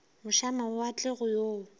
moše a mawatle go yo